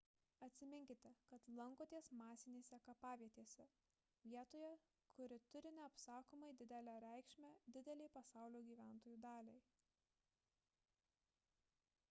atsiminkite kad lankotės masinėse kapavietėse vietoje kuri turi neapsakomai didelę reikšmę didelei pasaulio gyventojų daliai